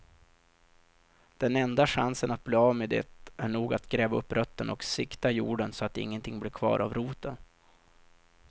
Den enda chansen att bli av med det är nog att gräva upp rötterna och sikta jorden så att ingenting blir kvar av roten.